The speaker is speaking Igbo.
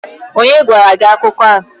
onye gwara gi akuko a?